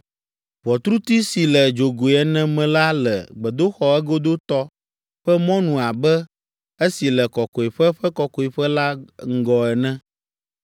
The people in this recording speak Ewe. Ʋɔtruti si le dzogoe ene me la le gbedoxɔ egodotɔ ƒe mɔnu abe esi le Kɔkɔeƒe ƒe Kɔkɔeƒe la ŋgɔ ene.